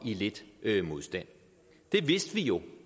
lidt modstand det vidste vi jo